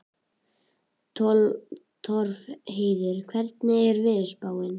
Torfheiður, hvernig er veðurspáin?